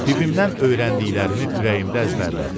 Bibimdən öyrəndiklərimi ürəyimdə əzbərlədim.